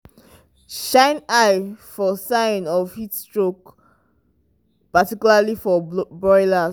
shine eye for sign of heatstroke particularly for broilers.